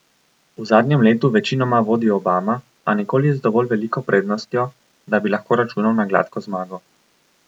V zadnjem letu večinoma vodi Obama, a nikoli z dovolj veliko prednostjo, da bi lahko računal na gladko zmago.